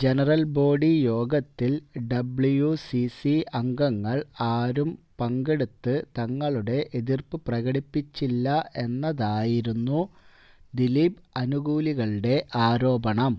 general body യോഗത്തിൽ WCC അംഗങ്ങൾ ആരും പങ്കെടുത്ത് തങ്ങളുടെ എതിർപ്പ് പ്രകടിപ്പിച്ചില്ല എന്നതായിരുന്നു ദിലീപ് അനുകൂലികളുടെ ആരോപണം